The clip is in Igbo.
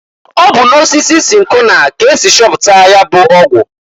Ọ bụ na osisi sinkona k'esi chọpụta ya bụ ọgwụ.